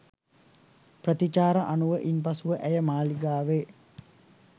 ප්‍රතිචාර අනුව ඉන් පසුව ඇය මාලිගාවේ